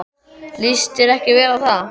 Líst þér ekki vel á það?